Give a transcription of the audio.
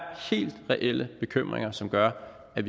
helt reelle bekymringer som gør at